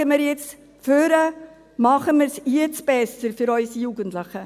Schauen wir jetzt nach vorne, machen wir es jetzt besser für unsere Jugendlichen.